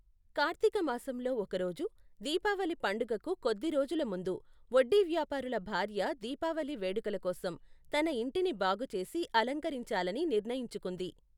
కార్తీక మాసంలో ఒకరోజు, దీపావళి పండుగకు కొద్ది రోజుల ముందు, వడ్డీ వ్యాపారుల భార్య దీపావళి వేడుకల కోసం తన ఇంటిని బాగుచేసి అలంకరించాలని నిర్ణయించుకుంది.